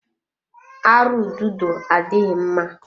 Arụ ududo adịghị mma.